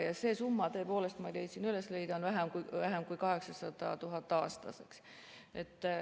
Ja see summa tõepoolest, ma leidsin üles, on vähem kui 800 000 eurot aastas.